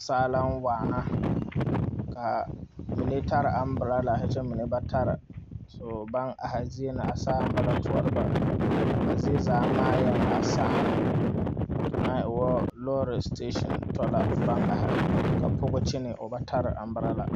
Saa na waa kaa mine taa umbrallar kyɛ ba mine ba taa so baŋ are zie na a saa naŋ ba toɔrɔ ba a zie zaa SAA ŋa e ŋa lɔɔre station to la ba are ka pɔge kyegi